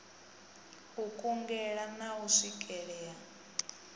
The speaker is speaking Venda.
u kungela na u swikelea